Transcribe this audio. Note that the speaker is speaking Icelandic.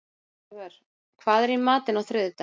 Salvör, hvað er í matinn á þriðjudaginn?